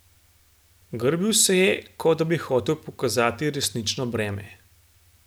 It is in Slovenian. Grbil se je, kot da bi hotel pokazati resnično breme.